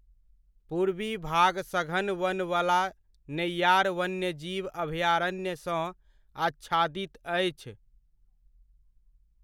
पूर्वी भाग सघन वन वला नेय्यार वन्यजीव अभयारण्य सँ आच्छादित अछि।